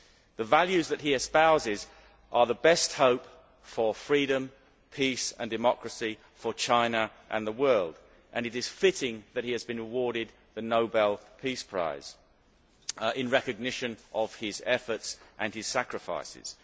The values that he espouses are the best hope for freedom, peace and democracy for China and the world and it is fitting that he has been awarded the Nobel Peace Prize in recognition of his efforts and his sacrifices.